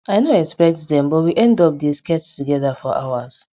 i no expect dem but we end up dey sketch togeda for hours